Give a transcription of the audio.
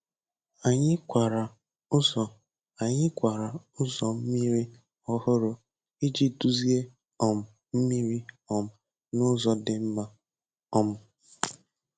Anyị kwara ụzọ Anyị kwara ụzọ mmiri ọhụrụ iji duzie um mmiri um n’ụzọ dị mma. um